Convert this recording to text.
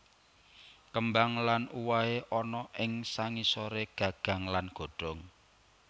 Kembang lan uwohe ana ing sangisore gagang lan godhong